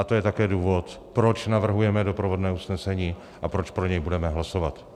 A to je také důvod, proč navrhujeme doprovodné usnesení a proč pro něj budeme hlasovat.